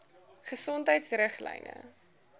gesondheidriglyne